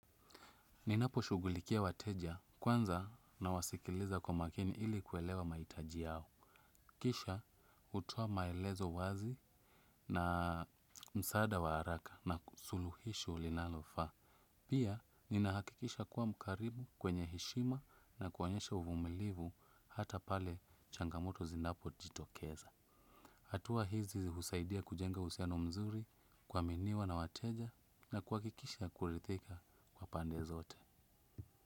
Ninaposhughulikia wateja kwanza nawasikiliza kwa makini ili kuelewa mahitaji yao. Kisha hutoa maelezo wazi na msaada wa haraka na suluhisho linalofaa. Pia ninahakikisha kuwa mkaribu kwenye heshima na kuonyesha uvumilivu hata pale changamoto zinapojitokeza. Hatua hizi husaidia kujenga uhusiano mzuri kuaminiwa na wateja na kuhakikisha kuridhika kwa pande zote.